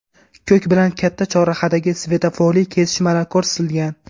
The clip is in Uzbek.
Ko‘k bilan katta chorrahadagi svetoforli kesishmalar ko‘rsatilgan.